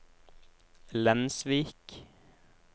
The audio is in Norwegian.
Lensvik